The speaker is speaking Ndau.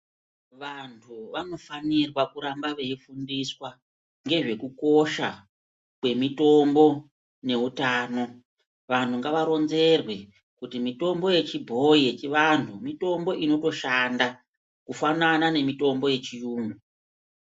Vantu vanofanirwa kuramba veifundiswa ngezvekukosha kwemitombo neutano. Vantu ngavaronzerwe kuti mitombo yechibhoyi yechivanhu mitombo inotoshanda, kufanana nemitombo yechiyungu.